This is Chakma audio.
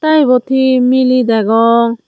te ebot he miley degong.